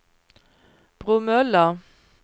Bromölla